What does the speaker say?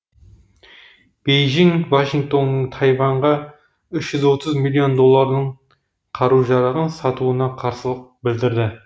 бейжің вашингтонның тайваньға үш жүз отыз миллион доллардың қару жарағын сатуына қарсылық білдірді